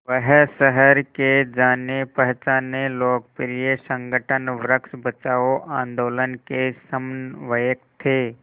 वह शहर के जानेपहचाने लोकप्रिय संगठन वृक्ष बचाओ आंदोलन के समन्वयक थे